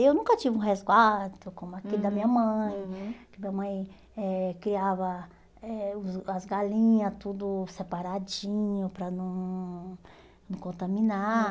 Eu nunca tive um resguardo como aquele da minha mãe, que a minha mãe eh criava eh os as galinhas tudo separadinho para não não contaminar.